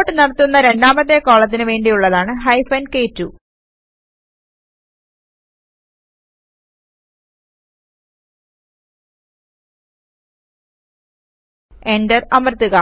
sort നടത്തുന്ന രണ്ടാമത്തെ കോളത്തിന് വേണ്ടിയുള്ളതാണ് ഹൈഫൻ കെ2 എന്റർ അമർത്തുക